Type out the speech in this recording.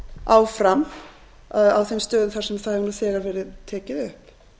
áfram á þeim stöðum þar sem það hefur þegar verið tekið upp